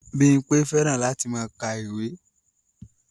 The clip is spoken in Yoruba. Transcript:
Bímpé fẹ́ràn láti máa ka ìwé